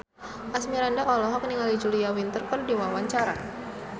Asmirandah olohok ningali Julia Winter keur diwawancara